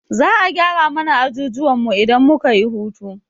Za'a gyara mana ajujuwan mu idan muka yi hutu.